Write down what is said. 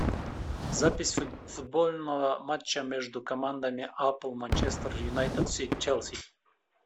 запись футбольного матча между командами апл манчестер юнайтед челси